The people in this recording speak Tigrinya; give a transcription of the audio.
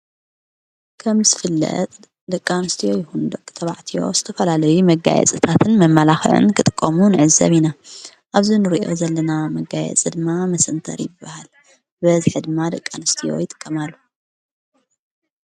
ከም ዝፍለጥ ደቃንስትዎ ይሁንዶቕ ተባዕትዮ ስተፈላለይ መጋየ ጽታትን መማላኽን ክጥቆሙ ዕዘብ ኢና፣ ኣብዙ ንርእዮ ዘለና መጋየ ጽድማ ምሰንተር ይበሃል በዝ ኅድማ ደቃንስጢ ይጥቀማሉ።